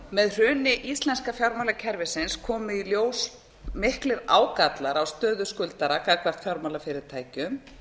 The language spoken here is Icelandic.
með hruni íslenska fjármálakerfisins komu í ljós miklir ágallar á stöðu skuldara gagnvart fjármálafyrirtækjum